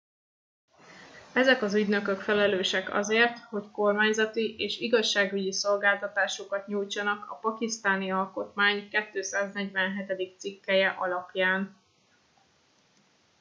ezek az ügynökök felelősek azért hogy kormányzati és igazságügyi szolgáltatásokat nyújtsanak a pakisztáni alkotmány 247. cikkelye alapján